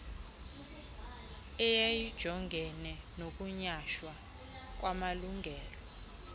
eyayijongene nokunyhashwa kwamalungelo